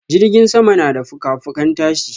jirgin sama na da fuka-fukan tashi.